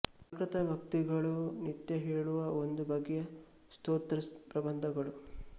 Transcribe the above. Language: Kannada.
ಪ್ರಾಕೃತ ಭಕ್ತಿಗಳು ನಿತ್ಯ ಹೇಳುವ ಒಂದು ಬಗೆಯ ಸ್ತೋತ್ರ ಪ್ರಬಂಧಗಳು